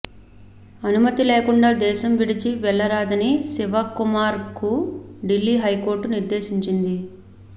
అనుమతి లేకుండా దేశం విడిచి వెళ్లరాదని శివకుమార్కు ఢిల్లీ హైకోర్టు నిర్దేశించింది